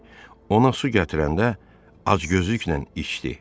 Kişi ona su gətirəndə acgözlüklə içdi.